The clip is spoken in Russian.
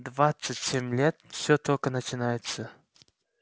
двадцать семь лет всё только начинается